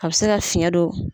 A bɛ se ka fiɲɛ don.